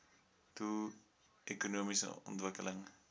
doel ekonomiese ontwikkeling